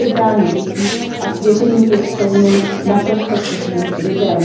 odebrání dětí a svěření pěstounům, naprosto cizím lidem.